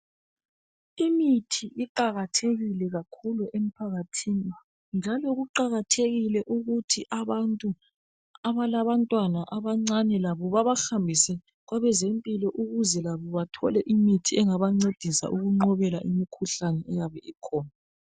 Imithi iqakathekile emphakathini njalo kuqakathekile ukuthi abantu abalabantwana abancane labo babahambise kwabezempilakahle ukuze labo bathole imithi engebancedisa ukunqobela imikhuhlane eyabe ikhona.